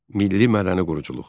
Milli mədəni quruculuq.